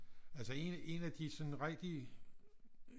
Altså en af en af de sådan rigtige